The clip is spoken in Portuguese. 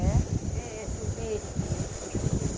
É, é é esse aqui, esse que é o jambuí.